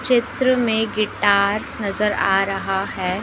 चित्र में गिटार नजर आ रहा है।